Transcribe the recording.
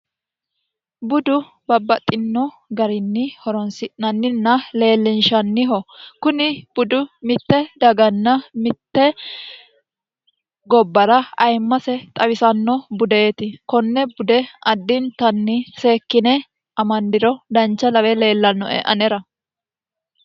budu babbaxxino garinni horonsi'nanninna leellinshanniho kuni budu mitte daganna mitte gobbara ayimmase xawisanno budeeti konne bude addintanni seekkine amandiro dancha lawe leellannoe anera